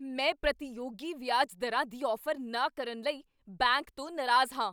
ਮੈਂ ਪ੍ਰਤੀਯੋਗੀ ਵਿਆਜ ਦਰਾਂ ਦੀ ਔਫ਼ਰ ਨਾ ਕਰਨ ਲਈ ਬੈਂਕ ਤੋਂ ਨਾਰਾਜ਼ ਹਾਂ।